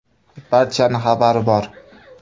Barchaning xabari bor.